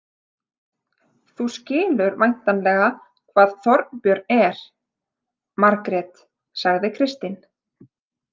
Þú skilur væntanlega hvað Þorbjörn er, Margrét, sagði Kristín.